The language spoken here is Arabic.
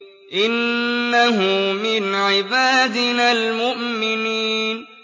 إِنَّهُ مِنْ عِبَادِنَا الْمُؤْمِنِينَ